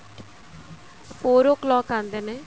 four o clock ਆਉਂਦੇ ਨੇ